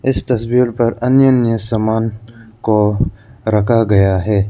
इस तस्वीर पर अन्य अन्य सामान को रखा गया है।